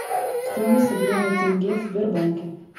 стоимость обмена тенге в сбербанке